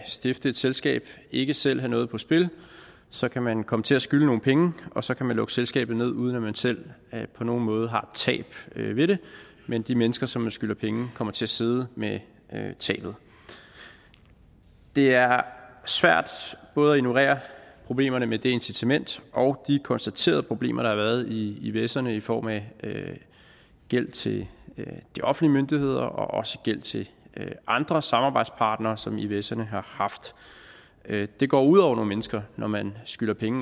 stifte et selskab og ikke selv have noget på spil så kan man komme til at skylde nogle penge og så kan man lukke selskabet ned uden at man selv på nogen måde har tab ved det mens de mennesker som man skylder penge kommer til at sidde med tabet det er svært både at ignorere problemerne med det incitament og de konstaterede problemer der har været i ivserne i form af gæld til de offentlige myndigheder og også gæld til andre samarbejdspartnere som ivserne har haft det går ud over nogle mennesker når man skylder penge